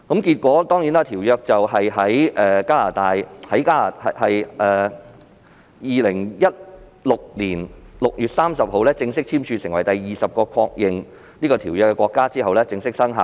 結果，在2016年6月30日，《馬拉喀什條約》在加拿大正式簽署成為第二十個締約國後正式生效。